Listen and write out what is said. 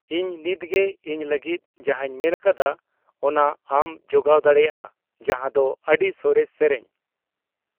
ᱤᱧ ᱱᱤᱛᱜᱮ ᱤᱧ ᱞᱟᱹᱜᱤᱫ ᱡᱟᱦᱟᱧ ᱢᱮᱱ ᱟᱠᱟᱫᱟ ᱚᱱᱟ ᱟᱢ ᱡᱚᱜᱟᱣ ᱫᱟᱲᱮᱭᱟᱜᱼᱟ ᱡᱟᱦᱟᱸ ᱫᱚ ᱟᱹᱰᱤ ᱥᱚᱨᱮᱥ ᱥᱮᱨᱮᱧ